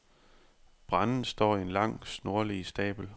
Brændet står i en lang, snorlige stabel.